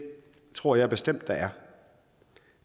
tror jeg bestemt der er